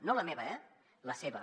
no la meva eh la seva